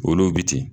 Olu bi ten